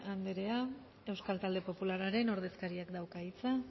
andrea euskal talde popularraren ordezkariak dauka hitza